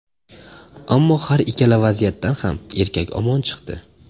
Ammo har ikkala vaziyatdan ham erkak omon chiqdi.